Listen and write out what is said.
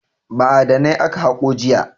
Ma'adanai aka haƙo jiya.